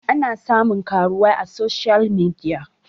ana samun karuwai a soshiyal midia